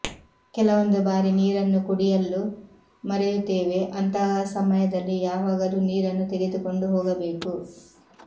ಕೆಲವೊಂದು ಬಾರಿ ನೀರನ್ನು ಕುಡಿಯಲ್ಲು ಮರೆಯುತ್ತೆವೆ ಅಂತಹ ಸಮಯದಲ್ಲಿ ಯಾವಾಗಲು ನೀರನ್ನು ತೆಗೆದುಕೊಂಡು ಹೊಗಬೇಕು